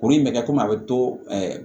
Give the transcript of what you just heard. Kuru in bɛ kɛ komi a bɛ to